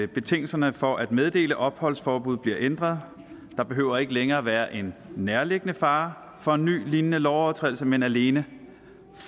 betingelserne for at meddele opholdsforbud bliver ændret der behøver ikke længere være en nærliggende fare for en ny lignende lovovertrædelse men alene